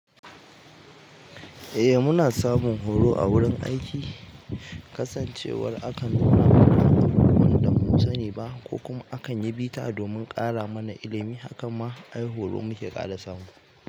Eh muna samun horo a wurin aiki, kasancewar akan nuna mana abubuwan da mun sani ba ko kuma akan yi bita domin ƙara mana ilimi. Hakan ma ai horo muke ƙara samu.